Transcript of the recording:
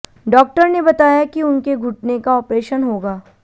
doctor ने बताया कि उनके घुटने का ऑपरेशन होगा